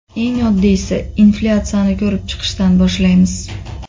Eng oddiysi inflyatsiyani ko‘rib chiqishdan boshlaymiz.